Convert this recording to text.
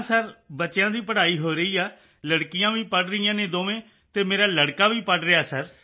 ਹਾਂ ਸਰ ਬੱਚਿਆਂ ਦੀ ਪੜ੍ਹਾਈ ਹੋ ਰਹੀ ਹੈ ਲੜਕੀਆਂ ਵੀ ਪੜ੍ਹ ਰਹੀਆਂ ਹਨ ਦੋਵੇਂ ਅਤੇ ਮੇਰਾ ਲੜਕਾ ਵੀ ਪੜ੍ਹ ਰਿਹਾ ਹੈ ਸਰ